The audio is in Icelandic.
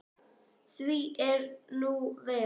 Því er nú ver.